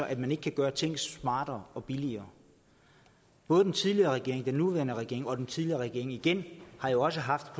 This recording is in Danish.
at man ikke kan gøre ting smartere og billigere både den tidligere regering den nuværende regering og den tidligere regering igen har jo også haft